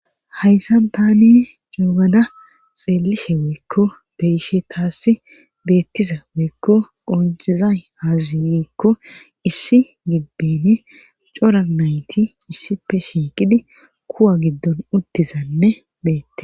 Hayssa tani juugada xeelishe weykko beyishe taasi beettiza weykko qoncizay hazazigiikko issi gibbeni cora nayti issife shiiqidi kuwa giddon uttizanne beette.